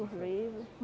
Os livros.